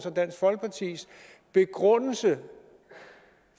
dansk folkepartis begrundelse